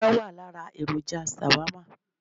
Ẹran wà lára èròjà Shawarma